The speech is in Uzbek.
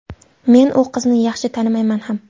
Men u qizni yaxshi tanimayman ham.